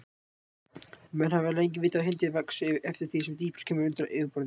Menn hafa lengi vitað að hitinn vex eftir því sem dýpra kemur undir yfirborðið.